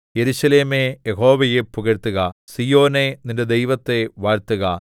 യെരൂശലേമേ യഹോവയെ പുകഴ്ത്തുക സീയോനേ നിന്റെ ദൈവത്തെ വാഴ്ത്തുക